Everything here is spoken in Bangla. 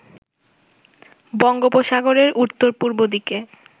বঙ্গোপসাগরের উত্তর-পূর্ব দিকে